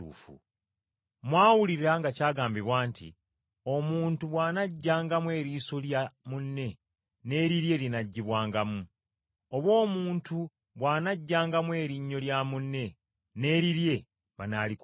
“Mwawulira nga kyagambibwa nti, ‘Omuntu bw’anaggyangamu eriiso lya munne n’erirye linaggibwangamu. Oba omuntu bw’anaaggyangamu erinnyo lya munne, n’erirye banaalikuulangamu.’